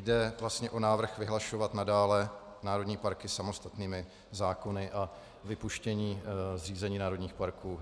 Jde vlastně o návrh vyhlašovat nadále národní parky samostatnými zákony a vypuštění zřízení národních parků